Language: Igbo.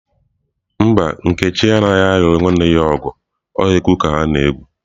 Mba, nkechi anaghi alu nwanne ya nwanyi ogu o egwu ka ha na-egwu.